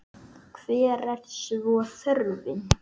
Hver er svo þörfin?